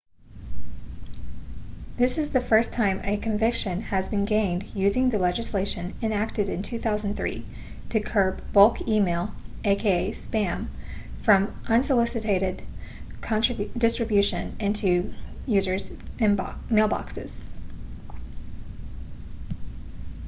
this is the first time a conviction has been gained using the legislation enacted in 2003 to curb bulk e-mail aka spam from unsolicited distribution into users mailboxes